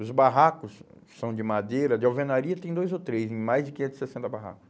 Os barracos são de madeira, de alvenaria tem dois ou três, mais de quinhentos e sessenta barracos.